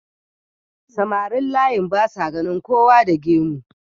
samarin layin basa ganin kowa da gemu